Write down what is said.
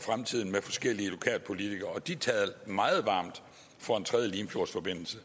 fremtiden med forskellige lokalpolitikere og de talte meget varmt for en tredje limfjordsforbindelse